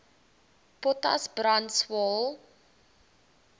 potas brand swael